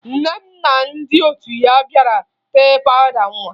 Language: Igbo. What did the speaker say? Nne m na ndị otu ya bịara tee pawụda nwa